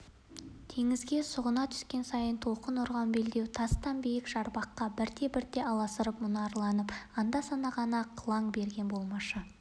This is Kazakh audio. теңізге сұғына түскен сайын толқын ұрған белдеу тасты биік жарқабақ бірте-бірте аласарып мұнарланып анда-санда ғана қылаң берген болмашы